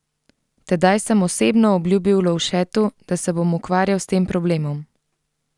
Tedaj sem osebno obljubil Lovšetu, da se bom ukvarjal s tem problemom.